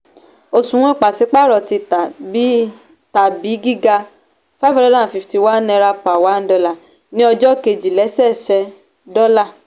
òṣùwọ̀n pàsípàrọ̀ ti tà bi tàbi giga five hundred and fifty one naira per one dollar ní ọjọ́ kejì lẹ́sẹẹsẹ dọ́là.